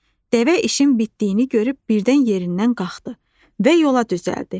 Dəvə işin bitdiyini görüb birdən yerindən qalxdı və yola düzəldi.